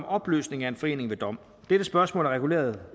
opløsning af en forening ved dom dette spørgsmål er reguleret